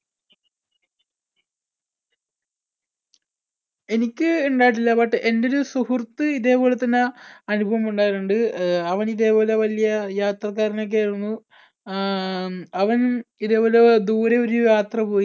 എനിക്ക് ഉണ്ടായിട്ടില്ല but എന്‍ടെ ഒരു സുഹൃത്ത് ഇതേപോലെ തന്നെ അനുഭവം ഉണ്ടായിട്ടുണ്ട്. ആഹ് അവൻ ഇതേപോലെ വലിയ യാത്രക്കാരൻ ഒക്കെ ആയിരുന്നു. ആഹ് ഉം അവൻ ഇതേപോലെ ദൂരെ ഒരു യാത്ര പോയി